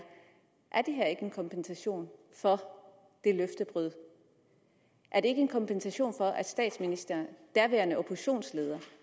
er det her ikke en kompensation for det løftebrud er det ikke en kompensation for at statsministeren den daværende oppositionsleder